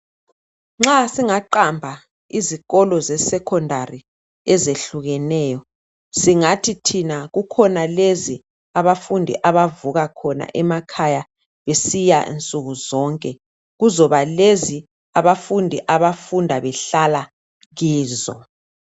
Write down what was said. Nxa singaqamba izikolo seSekhondari ezehlukeneyo. Singathi thina kukhona lezi abafundi abavuka khona emakhaya besiya nsukuzonke. Kuzoba lezi abafundi abafunda behlala kizo.